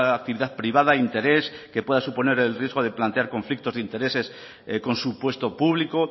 actividad privada interés que pueda suponer el riesgo de plantear conflictos de intereses con su puesto público